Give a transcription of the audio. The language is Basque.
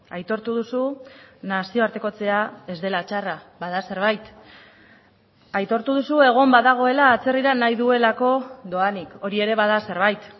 aitortu duzu nazioartekotzea ez dela txarra bada zerbait aitortu duzu egon badagoela atzerrira nahi duelako doanik hori ere bada zerbait